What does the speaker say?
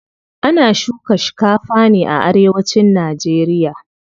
Ana shuka shikafa ne a arewacin nageriya.